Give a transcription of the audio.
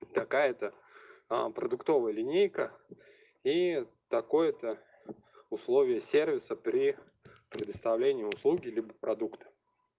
такая то а продуктовая линейка и такое-то условия сервиса при предоставлении услуги либо продукта